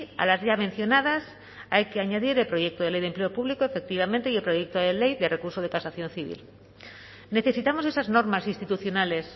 a las ya mencionadas hay que añadir el proyecto de ley de empleo público efectivamente y el proyecto de ley de recurso de casación civil necesitamos esas normas institucionales